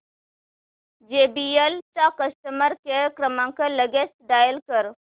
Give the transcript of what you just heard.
JBL चा customer care क्रमांक लगेच डायल कर